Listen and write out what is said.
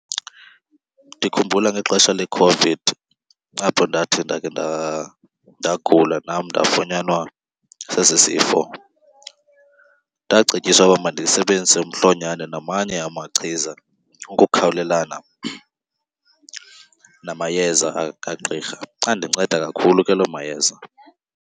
Ndikhumbula ngexesha leCOVID apho ndathi ndake ndagula nam ndafunyanwa sesi sifo. Ndacetyiswa ukuba mandisebenzise umhlonyane namanye amachiza ukukhawulelana namayeza kagqirha. Andinceda kakhulu ke loo mayeza.